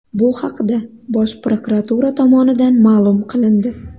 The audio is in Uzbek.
Bu haqda Bosh prokuratura tomonidan ma’lum qilindi .